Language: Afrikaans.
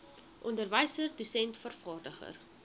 onderwyser dosent vervaardiger